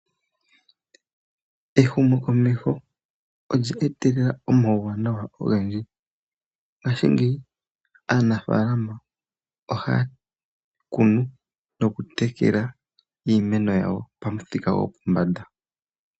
Ehumokomeho olya etelela omauwanawa ogendji. Ngashingeyi aanafaalama ohaa kunu nokutekela iimeno yawo pamuthika gopombanda.